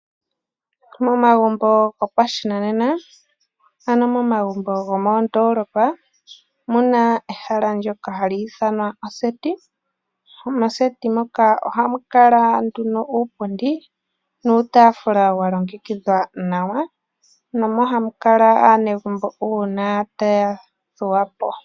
Momagumbo gopashinanena ano momagumbo gomoondolopa omuna ehala ndyoka hali ithanwa ehala lyokugondja, mehala lyokugondja moka ohamu kala nduno iipundi nuutaafula walongekidhwa nawa mo omo hamukala aanegumbo uuna taya thuwapo.